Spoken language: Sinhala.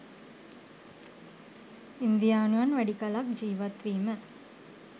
ඉන්දියානුවන් වැඩි කලක් ජීවත් වීම